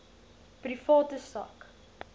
private sak